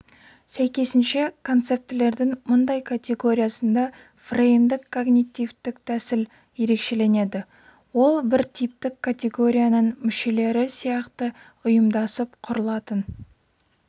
сәйкесінше концептілердің мұндай категориясында фреймдік-когнитивтік тәсіл ерекшеленеді ол бір типтік категорияның мүшелері сияқты ұйымдасып құрылатын